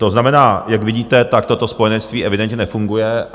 To znamená, jak vidíte, tak toto spojenectví evidentně nefunguje.